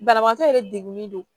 Banabagatɔ yɛrɛ degunlen don